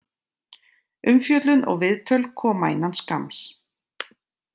Umfjöllun og viðtöl koma innan skamms.